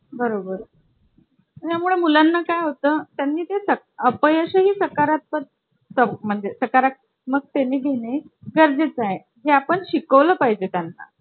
बरोबर , त्यामुळे मुलांना काय होतं त्यांनीं अपयश ही सकारात्मक म्हणजे सरकार मग ते ने घेणे गरजेचे आहे जे आपण शिकवलं पाहिजे त्यांना